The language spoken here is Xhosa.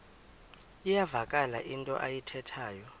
iyavakala into ayithethayo